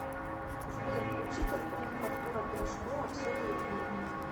сбер включить альбом артура пирожкова все о любви